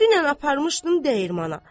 Dünən aparmışdım dəyirmana.